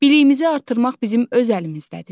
Biliyimizi artırmaq bizim öz əlimizdədir.